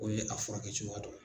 O ye a furakɛcogoya dɔ ye.